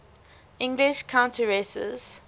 english countesses